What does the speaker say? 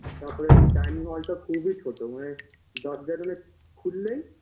তারপরে এমনি dining hall -টা খুবই ছোটো মানে দরজাটা না খুললেই